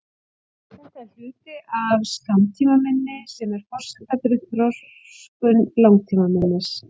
Þetta er hluti af skammtímaminni sem er forsenda fyrir þroskun langtímaminnis.